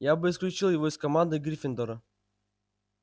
я бы исключил его из команды гриффиндора